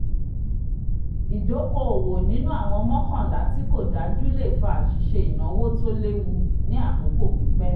ìdoko-owo nínú àwọn mọ̀ọ́kànlá tí kó dájú le fa àṣìṣe ináwó tó léwu ní àkókò pípẹ̀